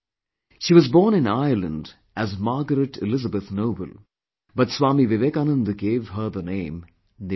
She was born in Ireland as Margret Elizabeth Noble but Swami Vivekanand gave her the name NIVEDITA